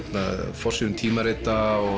forsíðum tímarita og